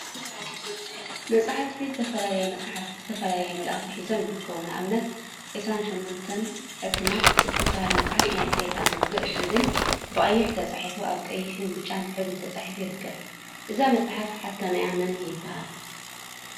መፅሓፍቲ ዝተፈላለዩ መፅሓፍቲ ዝተፈላለየ መልእኽቲ ሒዞም ይርከቡ፡፡ ንአብነት ዒስራን ሸሞንተን ሕታም እትብል መፅሓፍ “ናይ ሰይጣን ውግእ” ዝብል ብቀይሕ ተፃሒፉ አብ ቀይሕን ብጫን ሕብሪ ተፃሒፉ ይርከብ፡፡ እዛ መፅሓፍ ሓታሚአ መን ይበሃል?